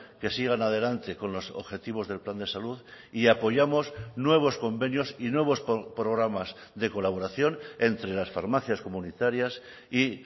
que sigan adelante con los objetivos del plan de salud y apoyamos nuevos convenios y nuevos programas de colaboración entre las farmacias comunitarias y